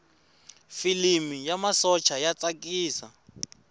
filimi ya masocha ya tsakisa